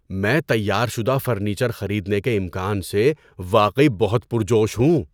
میں تیار شدہ فرنیچر خریدنے کے امکان سے واقعی بہت پرجوش ہوں۔